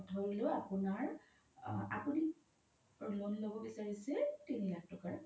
ধৰিলো আপোনৰ, আপোনি loan ল্'ব বিচাৰিছে তিনি লাখ তকাৰ